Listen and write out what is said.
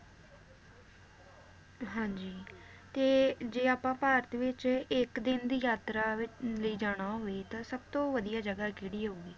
ਹਾਂਜੀ ਤੇ ਜੇ ਆਪਾਂ ਭਾਰਤ ਵਿਚ ਇਕ ਦਿਨ ਦੀ ਯਾਤਰਾ ਵ~ ਲਈ ਜਾਣਾ ਹੋਵੇ ਤਾਂ ਸਬਤੋਂ ਵਧੀਆ ਜਗਾਹ ਕਿਹੜੀ ਹੋਊਗੀ?